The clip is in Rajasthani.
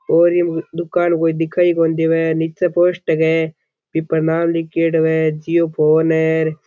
ओर ये दुकान कोई दिखाई कोनी देवे नीचे पोस्टर है बी पर नाम लिख्योडो है जिओ फ़ोन है र।